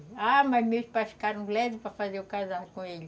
Ah, mas meus pais ficaram para me fazer casar com ele